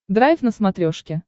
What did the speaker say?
драйв на смотрешке